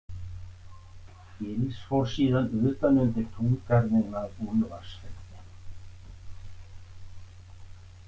Gils fór síðan utan undir túngarðinn að Úlfarsfelli.